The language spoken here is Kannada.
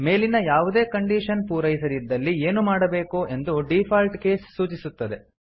ಮೇಲಿನ ಯಾವುದೇ ಕಂಡೀಶನ್ ಪೂರೈಸದಿದ್ದಲ್ಲಿ ಏನು ಮಾಡಬೇಕು ಎಂದು ಡಿಫಾಲ್ಟ್ ಕೇಸ್ ಸೂಚಿಸುತ್ತದೆ